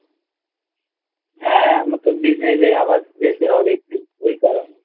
হ্যাঁ আমার তো Business এ আবার যেতে হবে একটু ওই কারণে